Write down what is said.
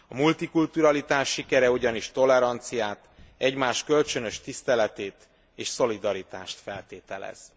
A multikulturalitás sikere ugyanis toleranciát, egymás kölcsönös tiszteletét és szolidaritást feltételez.